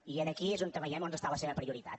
i aquí és on veiem on està la seva prioritat